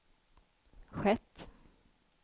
skett